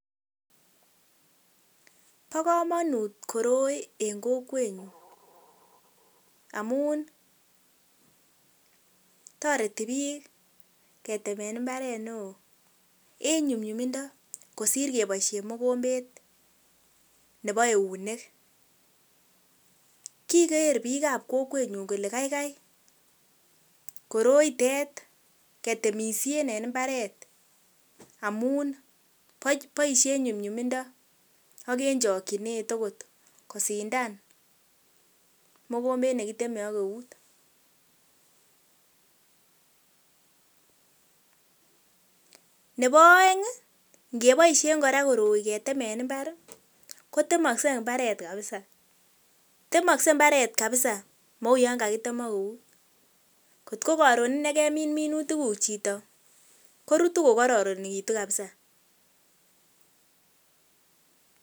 Bo komonut koroi en kokwet nyun amun toreti bik keteme imbaret neo en nyumnyumindo kosir keiboishen mugombet Nebo eunek Kiger bik kab Kokwenyun Kole kaigai koroitet ketemishen en imbaret amun boishe en nyumnyumindo AK en chokinet kosindan mogombet nekiteme AK eut Nebo oeng KO ngoboishen Kore koroi getemen imbar jotemokse mbaret kabisa mou yon kakitem AK eutkotko koruna kemin minitik guk Chito korutu ko koronikitu kabisa .